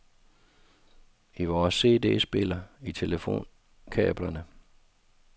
I vores cd-spiller, i telefonkablerne.